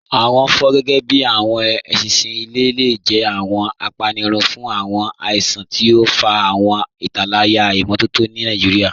Awọn fọ, gẹgẹbi awọn èṣinṣin ilẹ̀, le jẹ̀ awọn àpánírùn fun awọn àìsàn, tí o n fà awọn ìtálàyà imọtọ̀tọ̀ ni Nigeria.